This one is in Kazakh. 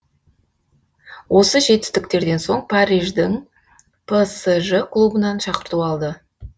осы жетістіктерден соң париждің псж клубынан шақырту алды